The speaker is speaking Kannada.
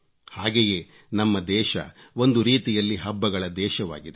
ಹಾಗೆಯೇ ನಮ್ಮ ದೇಶ ಒಂದು ರೀತಿಯಲ್ಲಿ ಹಬ್ಬಗಳ ದೇಶವಾಗಿದೆ